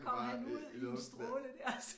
Kommer han ud i en stråle dér